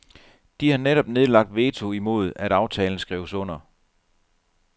De har netop nedlagt veto imod at aftalen skrives under.